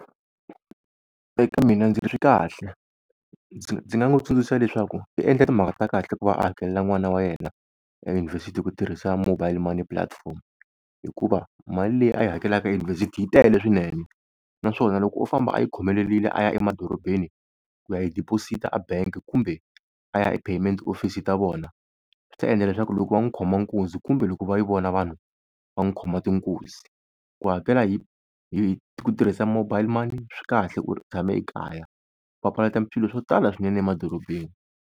Eka mina ndzi ri swi kahle, ndzi nga n'wi tsundzuxa leswaku u endla timhaka ta kahle ku va a hakelela n'wana wa yena eyunivhesiti hi ku tirhisa mobile money platform. Hikuva mali leyi a yi hakelaka eyunivhesiti yi tele swinene, naswona loko o famba a yi khomelerile a ya emadorobeni ku ya yi deposit-a a bangi kumbe a ya e-payment office ta vona, swi ta endla leswaku loko va n'wi khoma nkunzi kumbe loko va yi vona vanhu va n'wi khoma tinkuzi. Ku hakela hi, hi ku tirhisa mobile money swi kahle u tshame ekaya swi papalata swilo swo tala swinene emadorobeni.